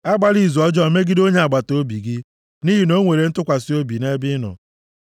Agbala izu ọjọọ megide onye agbataobi gị, nʼihi na o nwere ntụkwasị obi nʼebe ị nọ.